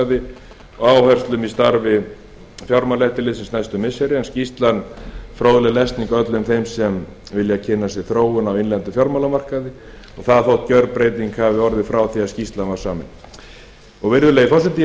fjármálamarkaði og áherslum í starfi fjármálaeftirlitsins næstu missiri er skýrslan fróðleg lesning öllum þeim er vilja kynna sér þróun á innlendum fjármálamarkaði og það þótt gjörbreyting hafi orðið frá því skýrslan var samin virðulegi forseti ég